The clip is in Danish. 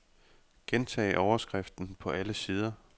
Gentag overskriften på alle sider.